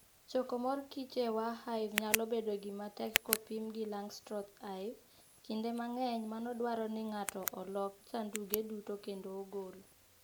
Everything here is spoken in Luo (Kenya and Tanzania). Choko mor kich e Warre Hive nyalo bedo gima tek kopim gi Langstroth Hive. Kinde mang'eny, mano dwaro ni ng'ato olok sanduge duto kendo ogol